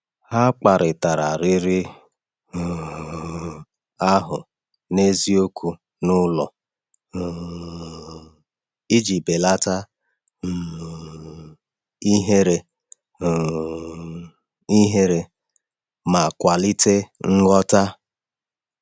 Ha kparịtara riri um ahụ n’eziokwu n’ụlọ um iji belata um ihere um ihere ma kwalite nghọta.